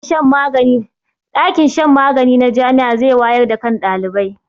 ɗakin shan magani na Jami'a zai wayar da kan ɗalibai